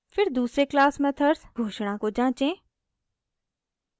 फिर दूसरे class methods घोषणा को जाँचें